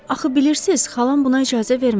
Axı bilirsiz, xalam buna icazə verməz.